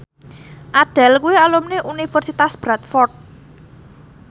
Adele kuwi alumni Universitas Bradford